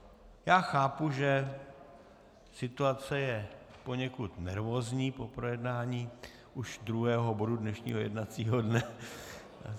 Já chápu, že situace je poněkud nervózní po projednání už druhého bodu dnešního jednacího dne.